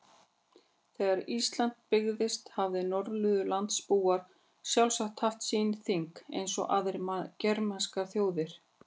Þegar Ísland byggðist hafa Norðurlandabúar sjálfsagt haft sín þing eins og aðrar germanskar þjóðir.